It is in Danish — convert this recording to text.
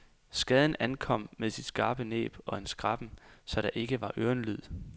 Skaden ankom med sit skarpe næb og en skræppen, så der ikke var ørenlyd.